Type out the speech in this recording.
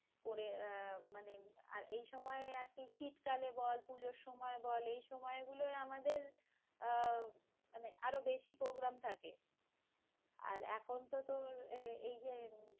করে আহ মানে, আর এই সময় আর কি শীতকালে বল, পুজোর সময় বল, এই সময় গুলো আমাদের আহ আরো বেশি programme থাকে। আর এখন তো~ তোর এই এই যে